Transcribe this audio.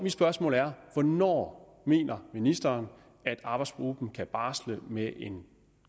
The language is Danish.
et spørgsmål mere hvornår mener ministeren arbejdsgruppen kan barsle med en